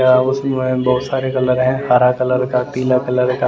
व् उसमे बहुत सारे कलर है हरा कलर का पीला कलर का--